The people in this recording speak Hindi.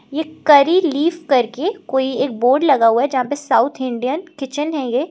एक करी लीफ करके कोई एक बोर्ड लगा हुआ है जहां पे साउथ इंडियन किचन है ये।